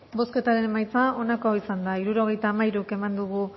bozketaren emaitza onako izan da hirurogeita hamairu eman dugu